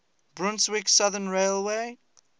brunswick southern railway